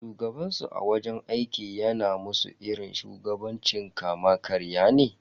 Shugabansu a wajen aiki yana musu irin shugabancin kama karya ne.